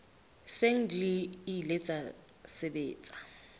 seng di ile tsa sebetsa